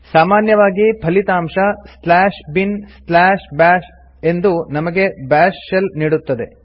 ಸಾಮಾನ್ಯವಾಗಿ ಫಲಿತಾಂಶ binbash ಎಂದು ನಮಗೆ ಬಾಶ್ ಶೆಲ್ ನೀಡುತ್ತದೆ